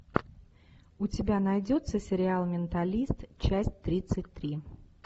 у тебя найдется сериал менталист часть тридцать три